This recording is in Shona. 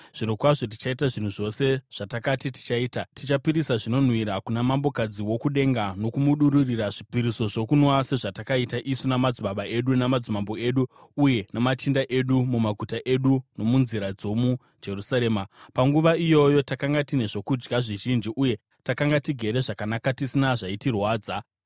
Zvirokwazvo tichaita zvinhu zvose zvatakati tichaita. Tichapisira zvinonhuhwira kuna Mambokadzi woKudenga nokumudururira zvipiriso zvokunwa sezvatakaita isu namadzibaba edu, namadzimambo edu uye namachinda edu mumaguta eJudha nomunzira dzomuJerusarema. Panguva iyoyo takanga tine zvokudya zvizhinji uye takanga tigere zvakanaka tisina zvaitirwadza.